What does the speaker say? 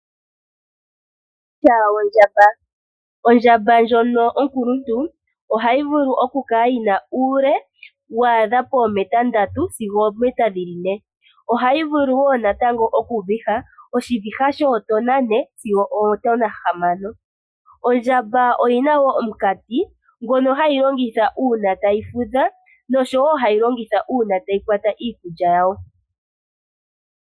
Uukwatya wondjamba, ondjamba ndjono onkuluntu ohayi vulu oku kala yina uule waadha pomeeta ndatu sigo oomeeta dhili ne, ohayi vulu wo natango okuviha oshiviha shootona 4 sigo ootona 6. Ondjamba oyina wo omukati ngono hayi longitha uuna tayi fudha, noshowo hayi longitha uuna tayi kwata iikulya yawo.